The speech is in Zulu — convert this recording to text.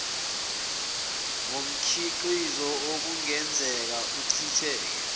ngomkhiqizo okungenzeka uchithekele